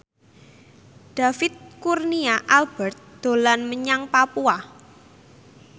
David Kurnia Albert dolan menyang Papua